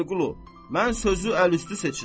Vəliqulu, mən sözü əl üstü seçirəm.